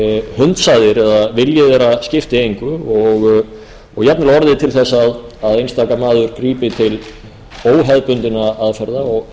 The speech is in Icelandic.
hunsaðir eða að vilji þeirri skipti engu og jafnvel orðið til þess að einstaka maður grípi til óhefðbundinna aðferða og